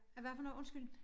Af hvad for noget undskyld?